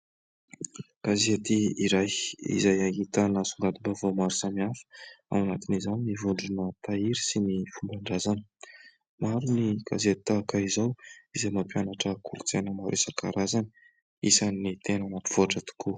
Gazety iray izay ahitana songadim-baovao maro samihafa ao anatin'izany ny vondrona tahiry sy ny fomban-drazana. Maro ny gazety tahaka izao izay mampianatra kolotsaina maro isan-karazany, isan'ny tena mampivoatra tokoa.